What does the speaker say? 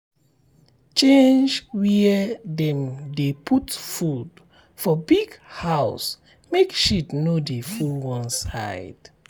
change where dem dey put food for big house make shit no dey full one side.